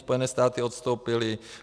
Spojené státy odstoupily.